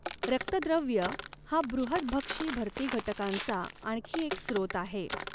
रक्तद्रव्य हा बृहतभक्षी भर्ती घटकांचा आणखी एक स्रोत आहे.